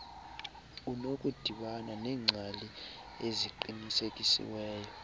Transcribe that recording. unokudibana neengcali eziqinisekisiweyo